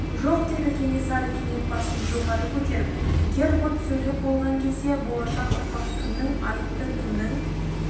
жоқ деді кенесары кенет басын жоғары көтеріп гербурт сөйлеп болған кезде болашақ ұрпақ кімнің айыпты кімнің